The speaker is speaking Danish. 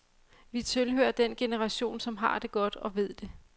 Vi tilhører den generation, som har det godt og ved det.